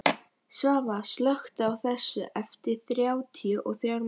Svava, slökktu á þessu eftir þrjátíu og þrjár mínútur.